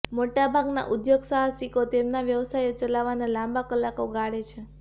મોટા ભાગનાં ઉદ્યોગસાહસિકો તેમના વ્યવસાયો ચલાવવાના લાંબા કલાકો ગાળે છે